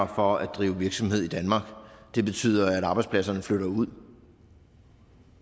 for at drive virksomhed i danmark ringere det betyder at arbejdspladserne flytter ud